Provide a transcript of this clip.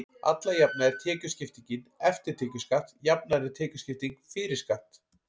alla jafna er tekjuskiptingin „eftir tekjuskatt“ jafnari en tekjuskipting „fyrir skatt“